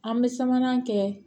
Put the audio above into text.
An bɛ sabanan kɛ